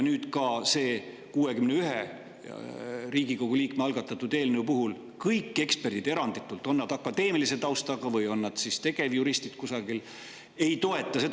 Ka 61 Riigikogu liikme algatatud eelnõu puhul eranditult kõik eksperdid, on nad akadeemilise taustaga või on nad tegevjuristid kusagil, ei toeta seda.